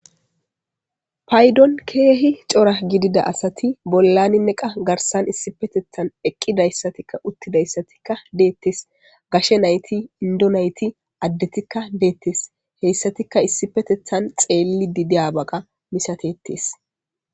Paydon keehi cora gidida asati bollaninne qa garsan issi petethan eqqidayssatikka uttidayssatikka deettes gashe nayti indonayti addetikka deettes heyssatikka issi petethan xeelli didiyabaga misatettes